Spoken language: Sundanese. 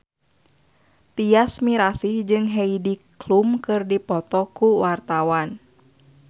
Tyas Mirasih jeung Heidi Klum keur dipoto ku wartawan